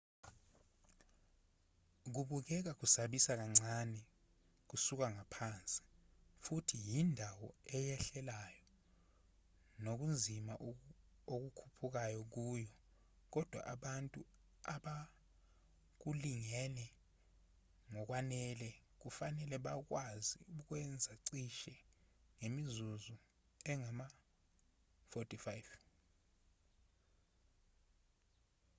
kubukeka kusabisa kancane kusuka ngaphansi futhi yindawo eyehlelayo nokunzima ukukhuphuka kuyo kodwa abantu abakulungele ngokwanele kufanele bakwazi ukukwenza cishe ngemizuzu engama-45